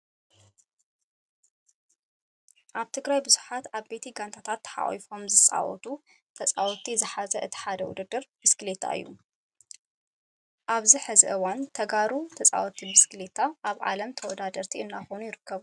ኣብ ትግራይ ብዙሓት ዓበይቲ ጋንታታት ተሓቒፎም ዝፃወቱ ተፃወትቲ ዝሓዘ እቲ ሓደ ውድድር ብስኪሌታ እዩ። ኣብዚ ሕዚ እዋን ተጋሩ ተፃወትቲ ብስክሌታ ኣብ ዓለም ተዓወትቲ እናኾኑ ይርከቡ።